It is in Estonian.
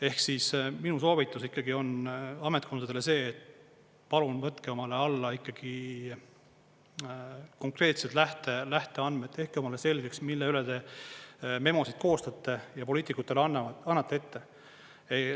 Ehk siis minu soovitus on ametkondadele see, et palun võtke omale alla konkreetsed lähteandmed, tehke omale selgeks, mille üle te memosid koostajate ja poliitikutele annate ette.